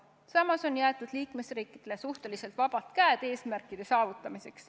Samas on jäetud liikmesriikidele suhteliselt vabad käed eesmärkide saavutamisel.